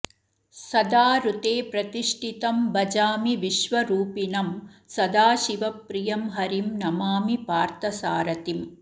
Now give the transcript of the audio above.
सदा ऋते प्रतिष्ठितं भजामि विश्वरूपिणं सदाशिवप्रियं हरिं नमामि पार्थसारथिम्